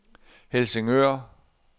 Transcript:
Helsingør